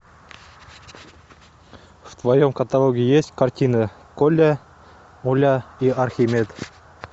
в твоем каталоге есть картина коля оля и архимед